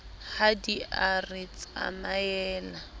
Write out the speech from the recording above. ha di a re tsamaela